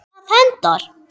ef það hentar!